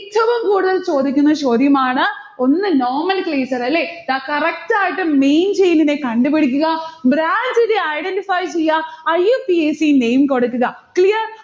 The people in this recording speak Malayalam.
ഏറ്റവും കൂടുതൽ ചോദിക്കുന്ന ചോദ്യമാണ്. ഒന്ന് nomenclature അല്ലെ? ഇതാ correct ആയിട്ട് main chain നെ കണ്ടുപിടിക്കുക. branch നെ identify ചെയ്യ. IUPAC name കൊടുക്കുക. clear